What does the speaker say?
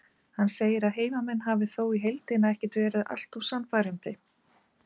Hann segir að heimamenn hafi þó í heildina ekkert verið allt of sannfærandi.